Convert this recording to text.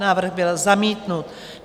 Návrh byl zamítnut.